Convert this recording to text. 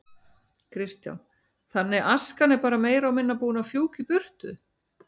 Kristján: Þannig askan er bara meira og minna búin að fjúka í burtu?